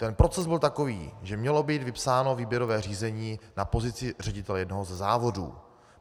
Ten proces byl takový, že mělo být vypsáno výběrové řízení na pozici ředitele jednoho ze závodů.